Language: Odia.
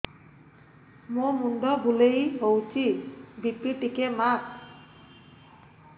ମୋ ମୁଣ୍ଡ ବୁଲେଇ ହଉଚି ବି.ପି ଟିକେ ମାପ